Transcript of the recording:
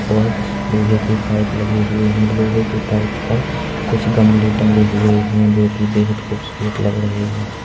और लोहे के पाइप लगे हुए हैं लोहे के पाइप पर कुछ गमले टंगे हुए हैं जो कि बेहद खुबसूरत लग रहे हैं।